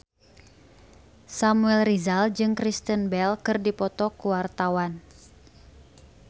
Samuel Rizal jeung Kristen Bell keur dipoto ku wartawan